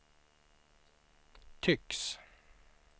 tycks